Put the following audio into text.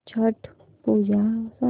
छट पूजा सांग